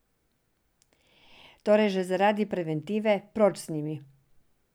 Torej že zaradi preventive proč z njimi!